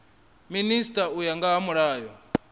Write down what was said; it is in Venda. minisita u ya nga mulayo